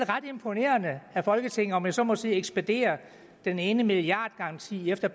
ret imponerende at folketinget om jeg så må sige ekspederer den ene milliardgaranti efter